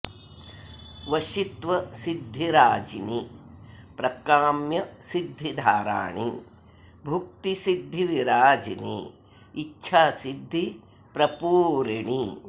वशित्व सिद्धिराजिनि प्रकाम्य सिद्धिधाराणि भुक्ति सिद्धिविराजिनि इच्छासिद्धि प्रपूरिणि